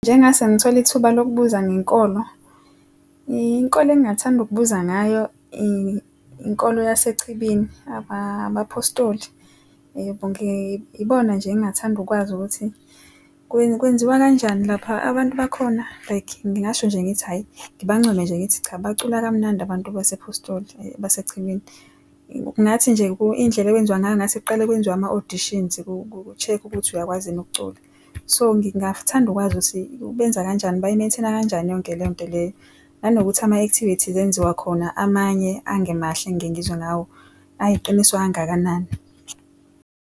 Mengase ngithole ithuba lokubuza ngenkolo, inkolo engingathanda ukubuza ngayo inkolo yasechibini abaphostoli yebo ngibona nje engathanda ukwazi ukuthi kwenziwa kanjani lapha abantu bakhona like ngingasho nje ngithi hhayi ngibancomr nje ngithi cha, bacula kamnandi abantu basePhostoli basechibini. Ngathi nje izindlela ekwenziwa ngayo ngathi kuqale kwenziwe ama-auditions ku-check-kwa ukuthi uyakwazi yini ukucula, so ngingathanda ukwazi ukuthi benza kanjani, bayi-maintain-a kanjani yonke lento leyo, nanokuthi ama-activities enziwa khona, amanye angemahle ngengizwe ngawo, ayiqiniso kangakanani.